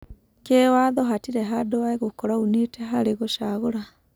Kĩwatho hatirĩ handũ egũkorwo aunĩte harĩĩ gũcagũra.